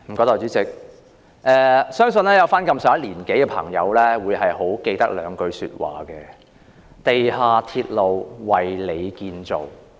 代理主席，相信年長的朋友會記得兩句話："地下鐵路為你建造"。